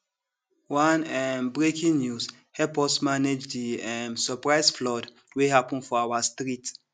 one um breaking news help us manage di um surprise flood wey happen for our street